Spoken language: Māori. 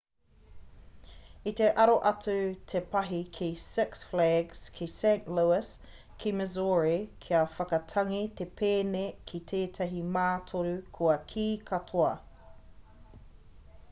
i te aro atu te pahi ki six flags ki st louis ki missouri kia whakatangi te pēne ki tētahi mātoru kua kī katoa